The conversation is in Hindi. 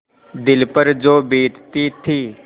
दिल पर जो बीतती थी